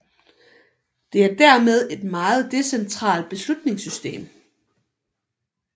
Det er dermed et meget decentralt beslutningssystem